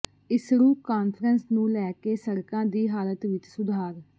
ਈਸੜੂ conference ਨੂੰ ਲੈ ਕੇ ਸੜਕਾਂ ਦੀ ਹਾਲਤ ਵਿੱਚ ਸੁਧਾਰ